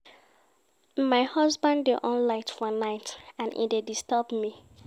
My husband dey on light for night and e dey disturb me.